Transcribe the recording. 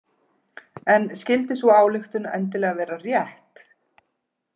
En skyldi sú ályktun endilega vera rétt?